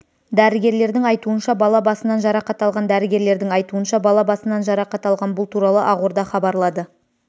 дәрігерлердің айтуынша бала басынан жарақат алған дәрігерлердің айтуынша бала басынан жарақат алған бұл туралы ақорда хабарлады